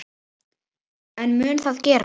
En mun það gerast?